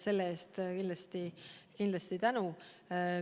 Nii et ma selle eest kindlasti tänan.